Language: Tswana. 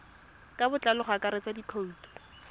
ka botlalo go akaretsa dikhoutu